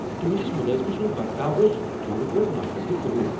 تہنٛدِس ملٲزمہٕ سنٛد برتاو اوس پوٗرٕ پٲٹھۍ ناقابل قبول۔